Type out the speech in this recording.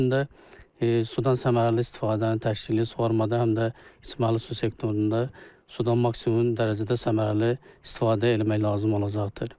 Bunun üçün də sudan səmərəli istifadənin təşkili, su varmadı həm də içməli su sektorunda sudan maksimum dərəcədə səmərəli istifadə eləmək lazım olacaqdır.